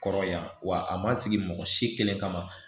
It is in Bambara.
Kɔrɔya wa a ma sigi mɔgɔ si kelen kama